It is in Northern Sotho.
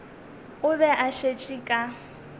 o be a šetše ka